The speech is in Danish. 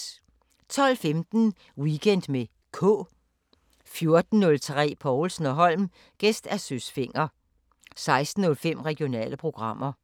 12:15: Weekend med K 14:03: Povlsen & Holm: Gæst Søs Fenger 16:05: Regionale programmer